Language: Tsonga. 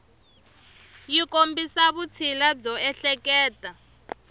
yi kombisa vutshila byo ehleketa